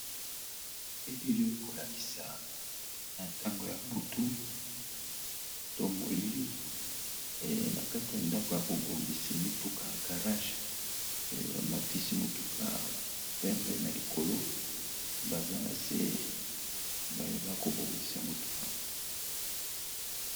Elili ekolakisa na ntango ya butu to molili na kati ya ndako ya bobongisi mituka garage bamatisi mutuka pembe na likolo baza na se bayeba kobongisa motuka.